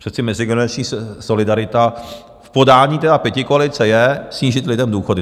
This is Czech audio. Přece mezigenerační solidarita v podání tedy pětikoalice je snížit lidem důchody.